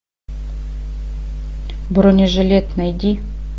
бронежилет найди